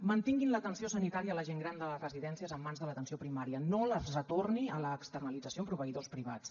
mantinguin l’atenció sanitària a la gent gran de les residències en mans de l’atenció primària no les retorni a l’externalització amb proveïdors privats